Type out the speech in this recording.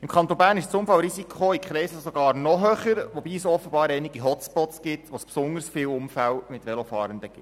Im Kanton Bern ist das Unfallrisiko in Kreiseln sogar noch höher, wobei es offenbar einige Hotspots mit besonders vielen Unfällen mit Velofahrenden gibt.